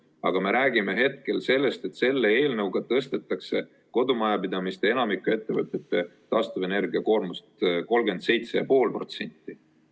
Aga me räägime hetkel sellest, et selle eelnõuga tõstetakse kodumajapidamiste ja enamiku ettevõtete taastuvenergia koormust 37,5%.